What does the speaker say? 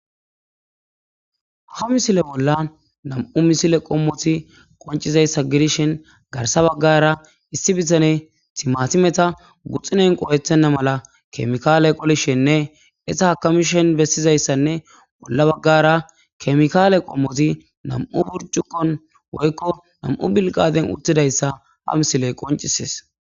Ha misile bolla nam'u misile qommoti qoncizayssa gidishin garsa baggara issi bitane timatimeta guxxinen qowethenna mala kemikaale qolishenne esa hakamishen bessizayssanne bolla baggara kemikaale qommoti nam'u burcukkon woykko nam'u bilqaden uttidayssa ha misiley qoncises